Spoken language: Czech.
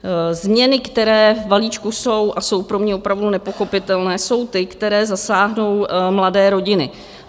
Změny, které v balíčku jsou, a jsou pro mě opravdu nepochopitelné, jsou ty, které zasáhnou mladé rodiny.